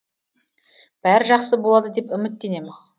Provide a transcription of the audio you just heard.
бәрі жақсы болады деп үміттенеміз